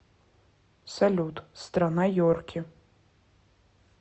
салют страна йорки